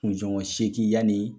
kunsongɔn seegin yani